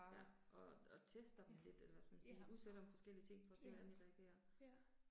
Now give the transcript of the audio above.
Ja. Og og tester dem lidt eller hvad skal man sige, udsætter dem forskellige ting for at se hvordan de reagerer